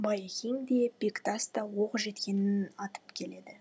байекең де бектас та оқ жеткенін атып келеді